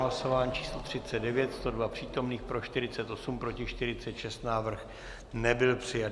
Hlasování číslo 39, 102 přítomných, pro 48, proti 46, návrh nebyl přijat.